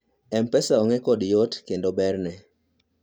mpesa ong'e kod yot kendo berne